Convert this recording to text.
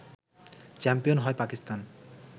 champion হয় পাকিস্তান